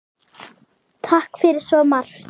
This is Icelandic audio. Takk fyrir svo margt.